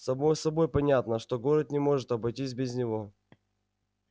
само собой понятно что город не может обойтись без него